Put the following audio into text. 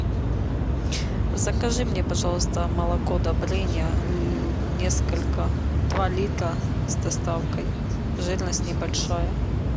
закажи мне пожалуйста молоко добрыня несколько два литра с доставкой жирность не большая